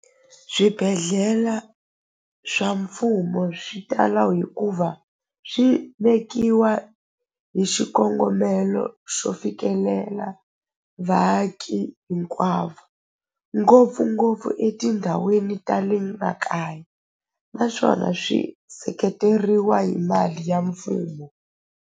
Swibedhlela swa mfumo swi tala hikuva swi vekiwa hi xikongomelo xo fikelela vaaki hinkwavo ngopfungopfu etindhawini ta le makaya naswona swi seketeriwa hi mali ya mfumo.